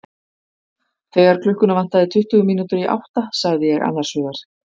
Þegar klukkuna vantaði tuttugu mínútur í átta sagði ég annars hugar.